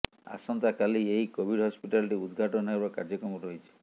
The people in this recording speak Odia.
ଆସନ୍ତା କାଲି ଏହି କୋଭିଡ ହସ୍ପିଟାଲଟି ଉଦଘାଟନ ହେବାର କାର୍ଯ୍ୟକ୍ରମ ରହିଛି